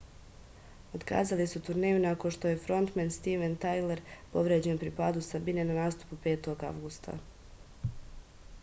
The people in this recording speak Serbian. otkazali su turneju nakon što je frontmen stiven tajler povređen pri padu sa bine na nastupu 5. avgusta